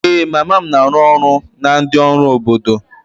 Ee, mama m na-arụ ọrụ na ndị ọrụ obodo.